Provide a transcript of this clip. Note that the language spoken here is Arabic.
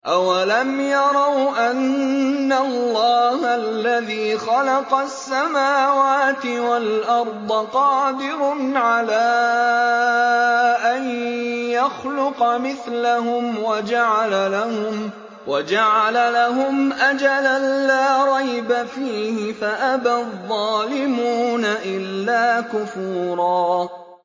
۞ أَوَلَمْ يَرَوْا أَنَّ اللَّهَ الَّذِي خَلَقَ السَّمَاوَاتِ وَالْأَرْضَ قَادِرٌ عَلَىٰ أَن يَخْلُقَ مِثْلَهُمْ وَجَعَلَ لَهُمْ أَجَلًا لَّا رَيْبَ فِيهِ فَأَبَى الظَّالِمُونَ إِلَّا كُفُورًا